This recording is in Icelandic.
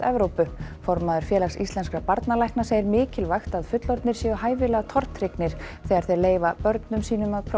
Evrópu formaður barnalækna segir mikilvægt að fullorðnir séu hæfilega tortryggnir þegar þau leyfi börnum að prófa